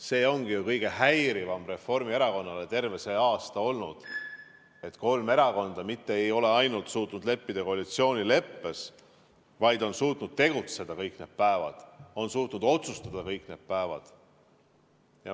See ongi ju kõige häirivam Reformierakonnale terve see aasta olnud, et kolm erakonda mitte ei ole ainult suutnud kokku leppida koalitsioonileppes, vaid on suutnud tegutseda ja otsustada kõik need päevad.